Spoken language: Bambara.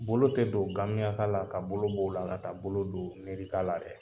Bolo tɛ don gamiyaka la ka bolo b'o la ka taa bolo don nerika la dɛ!